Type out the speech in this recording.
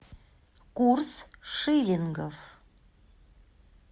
курс шиллингов